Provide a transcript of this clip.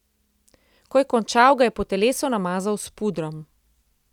Ko je končal, ga je po telesu namazal s pudrom.